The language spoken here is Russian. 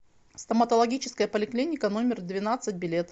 стоматологическая поликлиника номер двенадцать билет